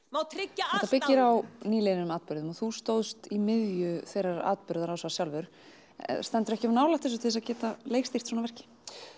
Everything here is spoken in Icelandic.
þetta byggir á nýliðnum atburðum og þú stóðst í miðju þeirrar atburðarásar sjálfur stendurðu ekki of nálægt þessu til að geta leikstýrt svona verki